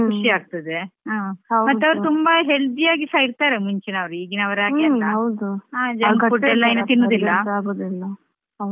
ಅವರಿಗೊಂದು ಖುಷಿಯಾಗ್ತದೆ ಮತ್ತೇ ಅವ್ರು ತುಂಬಾ healthy ಯಾಗಿರ್ತಾರೆ ಮುಂಚಿನವರು, ಈಗಿನವರ ಹಾಗೆ food ಏನು ತಿನ್ನುದಿಲ್ಲಾ.